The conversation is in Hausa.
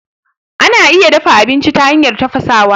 Ana iya dafa aminci ta hanyar tafasawa.